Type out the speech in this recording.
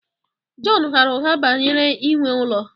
Jọn ghaara ụgha banyere inwe ụlọ